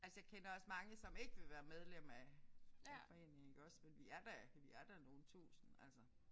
Altså jeg kender også mange som ikke vil være medlem af af foreningen iggås men vi er da vi er da nogle tusinde altså